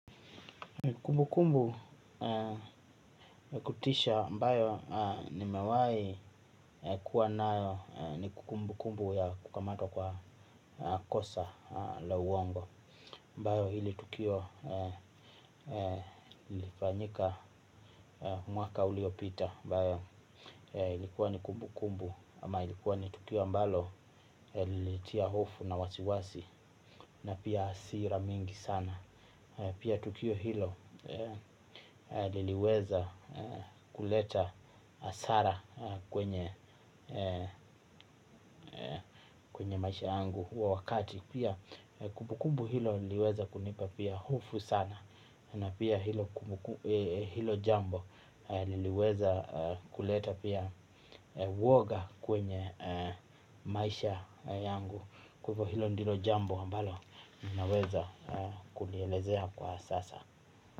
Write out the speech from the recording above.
Kumbu kumbu ya kutisha ambayo ni mewai kuwa nayo ni kumbu kumbu ya kukamatwa kwa kosa la uongo ambayo hili tukio ilifanyika mwaka uliopita mbayo hili kuwa ni kumbu kumbu ama hili kuwa ni tukio ambalo linitiya hofu na wasiwasi na pia asira mingi sana. Pia tukio hilo liliweza kuleta asara kwenye maisha yangu wa wakati pia kumbukumbu hilo liweza kunipa pia hufu sana. Na pia hilo jambo liliweza kuleta pia woga kwenye maisha yangu. Kupo hilo ndilo jambo ambalo ninaweza kulielezea kwa sasa.